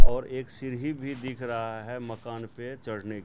और एक सीढ़ी भी दिख रहा हैं मकान पे चढ़ने--